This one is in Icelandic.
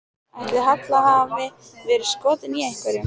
Ætli Halla hafi verið skotin í einhverjum?